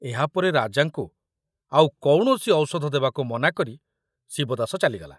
ଏହାପରେ ରାଜାଙ୍କୁ ଆଉ କୌଣସି ଔଷଧ ଦେବାକୁ ମନାକରି ଶିବଦାସ ଚାଲିଗଲା।